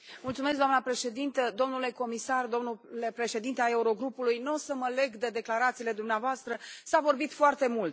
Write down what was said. Doamnă președintă, domnule comisar, domnule președinte al Eurogrupului, nu o să mă leg de declarațiile dumneavoastră, s a vorbit foarte mult.